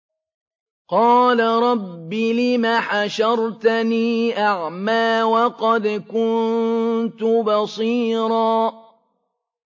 قَالَ رَبِّ لِمَ حَشَرْتَنِي أَعْمَىٰ وَقَدْ كُنتُ بَصِيرًا